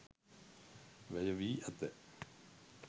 වැය වී ඇත